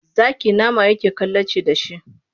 Zaki nama yake kalaci da shi.